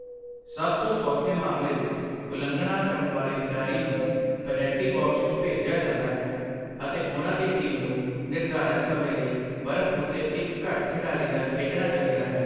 ਸਭ ਤੋਂ ਸੌਖੇ ਮਾਮਲੇ ਵਿੱਚ, ਉਲੰਘਣਾ ਕਰਨ ਵਾਲੇ ਖਿਡਾਰੀ ਨੂੰ ਪੈਨਲਟੀ ਬਾਕਸ ਵਿੱਚ ਭੇਜਿਆ ਜਾਂਦਾ ਹੈ ਅਤੇ ਉਹਨਾਂ ਦੀ ਟੀਮ ਨੂੰ ਨਿਰਧਾਰਤ ਸਮੇਂ ਲਈ ਬਰਫ ਉੱਤੇ ਇੱਕ ਘੱਟ ਖਿਡਾਰੀ ਨਾਲ ਖੇਡਣਾ ਚਾਹੀਦਾ ਹੈ।